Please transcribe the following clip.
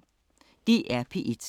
DR P1